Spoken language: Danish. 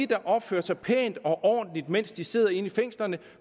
der opfører sig pænt og ordentligt mens de sidder inde i fængslerne